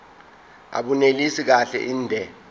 abunelisi kahle inde